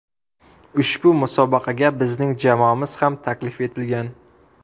Ushbu musobaqaga bizning jamoamiz ham taklif etilgan.